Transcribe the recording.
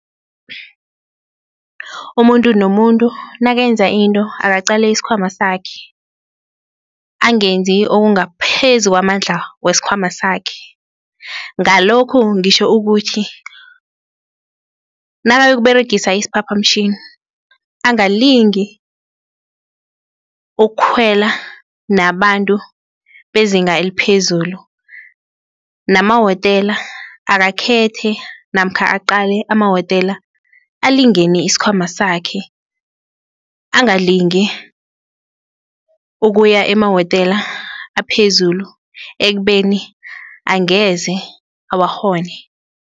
Umuntu nomuntu nakenza into akaqale isikhwama sakhe, angenzi okungaphezu kwamandla wesikhwama sakhe, ngalokhu ngitjho ukuthi nakayokuberegisa isiphaphamtjhini, angalingi ukukhwela nabantu bezinga eliphezulu, nama-hotel akakhethe namkha lokha aqale ama-hotel alingene isikhwama sakhe, angalingi ukuya emawotela aphezulu ekubeni angeze awakghone.